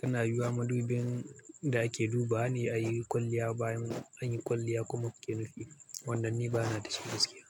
tana yiwuwa madubin da ake dubawa ne yayin kwalliya, bayan an yi kwalliya kuma kuke nufi. Wannan ni bana da shi gaskiya.